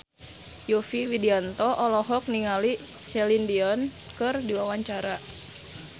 Yovie Widianto olohok ningali Celine Dion keur diwawancara